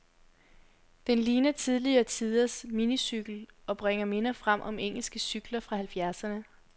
Den ligner tidligere tiders minicykel, og bringer minder frem om engelske cykler fra halvfjerdserne.